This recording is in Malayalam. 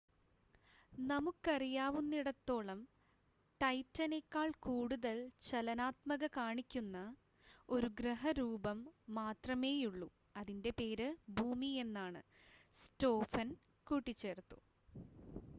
നമുക്കറിയാവുന്നിടത്തോളം ടൈറ്റനേക്കാൾ കൂടുതൽ ചലനാത്മകത കാണിക്കുന്ന ഒരു ഗ്രഹ രൂപം മാത്രമേയുള്ളു അതിൻ്റെ പേര് ഭൂമി എന്നാണ് സ്‌റ്റോഫൻ കൂട്ടിച്ചേർത്തു